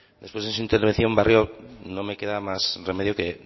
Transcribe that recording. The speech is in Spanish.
después de su intervención barrio no me queda más remedio que